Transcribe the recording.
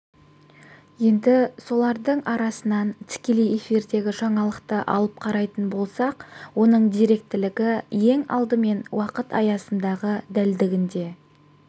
енді солардың арасынан тікелей эфирдегі жаңалықты алып қарайтын болсақ оның деректілігі ең алдымен уақыт аясындағы дәлдігінде